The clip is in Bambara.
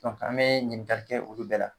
Dɔnke an be ɲininkali kɛ olu bɛɛ la